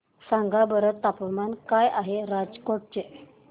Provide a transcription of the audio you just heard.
सांगा बरं तापमान काय आहे राजकोट चे